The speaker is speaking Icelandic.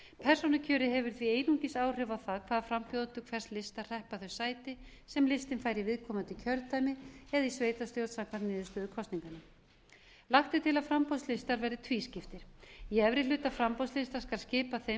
persónukjörið hefur því einungis áhrif á það hvaða frambjóðendur hvers lista hreppa þau sæti sem listinn fær í viðkomandi kjördæmi eða í sveitarstjórn samkvæmt niðurstöðu kosninganna lagt er til að framboðslistar verði tvískiptir í efri hluta framboðslista skal skipað þeim